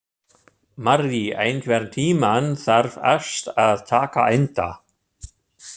Marri, einhvern tímann þarf allt að taka enda.